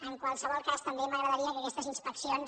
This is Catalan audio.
en qualsevol cas m’agradaria que aquestes inspeccions